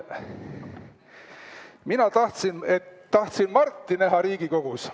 Mina tahtsin Marti näha Riigikogus.